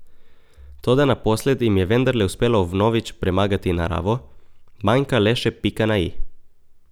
Toda naposled jim je vendarle uspelo vnovič premagati naravo, manjka le še pika na i.